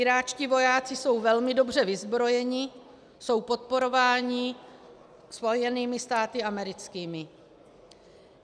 Iráčtí vojáci jsou velmi dobře vyzbrojeni, jsou podporováni Spojenými státy americkými.